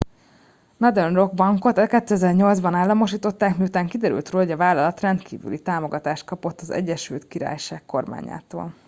a northern rock bankot 2008 ban államosították miután kiderült róla hogy a vállalat rendkívüli támogatást kapott az egyesült királyság kormányától